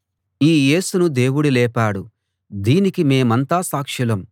ఈ యేసును దేవుడు లేపాడు దీనికి మేమంతా సాక్షులం